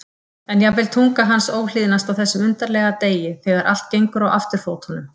En jafnvel tunga hans óhlýðnast á þessum undarlega degi þegar allt gengur á afturfótunum.